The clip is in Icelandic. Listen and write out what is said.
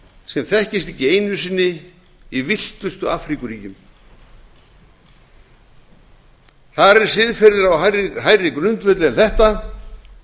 sem þekkist ekki einu sinni í villtustu afríkuríkjum þar er siðferðið á hærri grundvelli en þetta